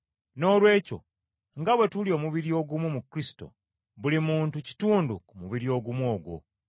Noolwekyo nga bwe tuli omubiri ogumu mu Kristo, buli muntu kitundu ku mubiri ogumu ogwo.